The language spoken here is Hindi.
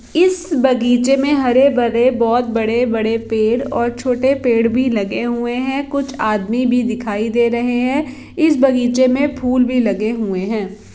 इस बगीचे मे हरे - भरे बोहोत बड़े - बड़े पेड़ और छोटे पेड़ भी लगे हुए है कुछ आदमी भी दिखाई दे रहे है इस बगीचे मे फूल भी लगे हुए है।